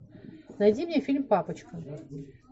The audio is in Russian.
найди мне фильм папочка